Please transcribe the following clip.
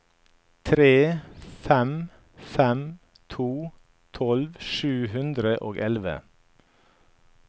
tre fem fem to tolv sju hundre og elleve